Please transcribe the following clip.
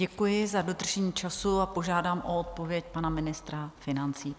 Děkuji za dodržení času a požádám o odpověď pana ministra financí.